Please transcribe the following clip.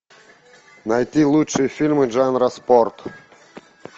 найти лучшие фильмы жанра спорт